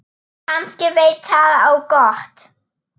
Kannski veit það á gott.